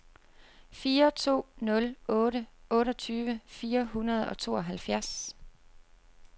fire to nul otte otteogtyve fire hundrede og tooghalvfjerds